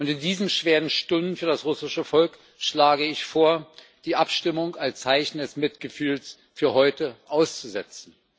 Und in diesen schweren Stunden für das russische Volk schlage ich vor, die Abstimmung als Zeichen des Mitgefühls für heute auszusetzen.